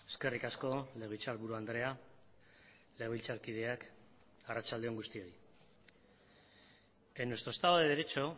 eskerrik asko legebiltzarburu andrea legebiltzarkideak arratsalde on guztioi en nuestro estado de derecho